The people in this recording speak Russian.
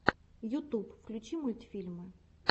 ютуб включи мультфильмы